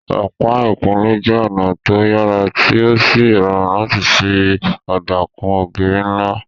Ọ̀pá ìkunlé jẹ́ ọ̀nà tó yàrá tí ó sì rọrùn láti fi ọ̀dà kun ògiri ńlá